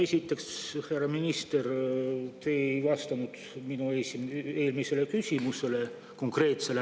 Esiteks, härra minister, te ei vastanud üldse minu eelmisele konkreetsele küsimusele.